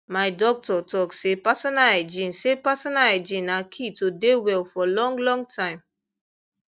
my doctor talk say personal hygiene say personal hygiene na key to dey well for long long time